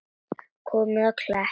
Komið á Klepp?